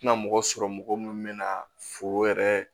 Tɛna mɔgɔ sɔrɔ mɔgɔ minnu mɛna foro yɛrɛ